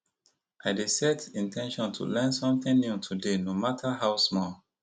i dey set in ten tion to learn something new today no matter how small